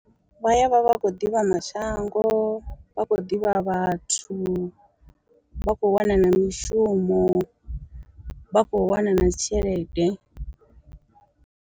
Vha yavha vha khou ḓivha mashango, vha khou ḓivha vhathu, vha khou wana na mishumo, vha khou wana na dzitshelede.